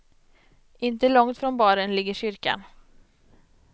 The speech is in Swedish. Inte långt från baren ligger kyrkan.